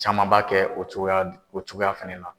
Caman b'a kɛ o cogoya o cogoya fana la.